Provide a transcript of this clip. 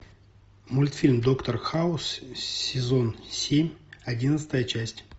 мультфильм доктор хаус сезон семь одиннадцатая часть